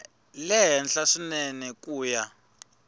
le henhla swinene ku ya